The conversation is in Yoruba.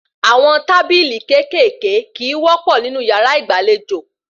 Àwọn tábìlì kéékèèké kìí wọ́pọ́ nínú yàrá ìgbàlejò